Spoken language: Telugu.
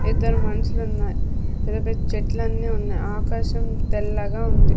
ఇద్దరు మనుషులున్నాయ్ పెద్ద పెద్ద చెట్లన్నీ ఉన్నాయ్ ఆకాశం తెల్లగా ఉంది.